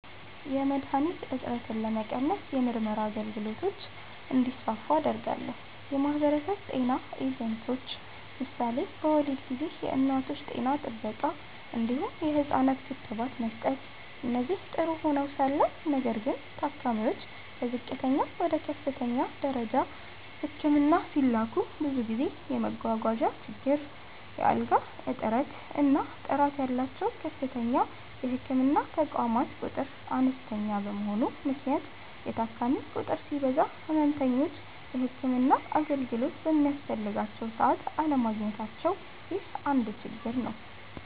.የመድሀኒት እጥረትን ለመቀነስ የምርመራ አገልግሎቶች እንዲስፋፉ አደርጋለሁ። .የማህበረሰብ ጤና ኤጀንቶች ምሳሌ በወሊድ ጊዜ የእናቶች ጤና ጥበቃ እንዲሁም የህፃናት ክትባት መስጠት እነዚህ ጥሩ ሆነዉ ሳለ ነገር ግን ታካሚዎች ከዝቅተኛ ወደ ከፍተኛ ደረጃ ህክምና ሲላኩ ብዙ ጊዜ መጓጓዣ ችግር፣ የአልጋ እጥረት እና ጥራት ያላቸዉ ከፍተኛ የህክምና ተቋማት ቁጥር አነስተኛ በመሆኑ ምክንያት የታካሚ ቁጥር ሲበዛ ህመምተኞች የህክምና አገልግሎቱ በሚያስፈልጋቸዉ ሰዓት አለማግኘታቸዉ ይህ አንድ ችግር ነዉ።